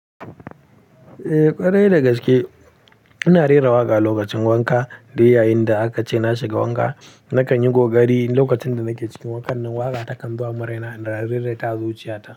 Eh ƙwarai da gaske ina rera waƙa lokacin wanka. Da yayinda aka ce na shiga wanka, na kan yi kokari. Lokacin da nake cikin wanka, nan waƙa ta kan zo a muraina, ina rera ta zuciyata.